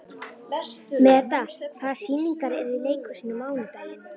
Meda, hvaða sýningar eru í leikhúsinu á mánudaginn?